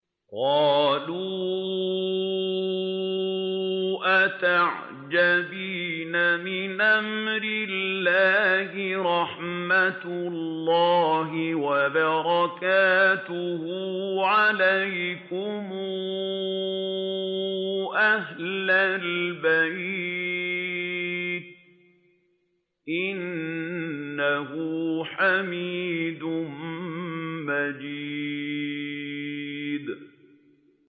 قَالُوا أَتَعْجَبِينَ مِنْ أَمْرِ اللَّهِ ۖ رَحْمَتُ اللَّهِ وَبَرَكَاتُهُ عَلَيْكُمْ أَهْلَ الْبَيْتِ ۚ إِنَّهُ حَمِيدٌ مَّجِيدٌ